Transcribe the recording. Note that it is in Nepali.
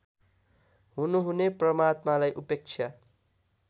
हुनुहुने परमात्मालाई उपेक्षा